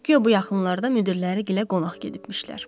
Guya bu yaxınlarda müdirləri gilə qonaq gedibmişlər.